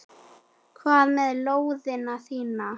Hvað með lóðina mína!